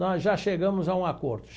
Nós já chegamos a um acordo.